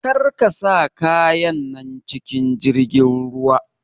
Karka sa kayan nan cikin jirgin ruwa!